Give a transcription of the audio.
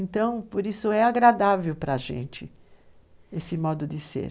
Então, por isso, é agradável para a gente esse modo de ser.